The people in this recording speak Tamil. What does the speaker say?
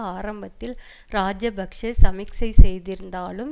ஆரம்பத்தில் இராஜபக்ஷ சமிக்சை செய்திருந்தாலும்